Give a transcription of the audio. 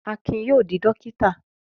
Akin yóò dọ́kítà.